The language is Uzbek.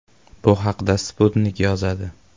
Bu haqda Sputnik yozadi .